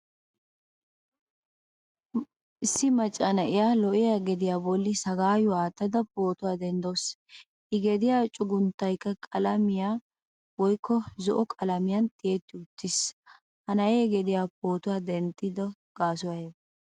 Issi macca na'ee lo'iyaa gediya bolli sagayuwaa attada pootuwaa denddasu. I gediya cuggunttaykka qalamiyam woykko zo''o qalamiyan tiyetti uttiis. Ha na'ee gediya pootuwaa denttido gasoy aybisee?